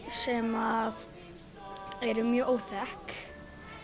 sem að eru mjög óþekk